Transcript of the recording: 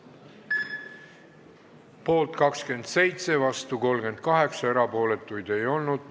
Hääletustulemused Poolt 27, vastu 38, erapooletuid ei olnud.